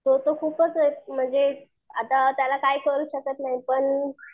तो तर खूपच म्हणजे एक, आता त्याला काही करू शकत नाही पण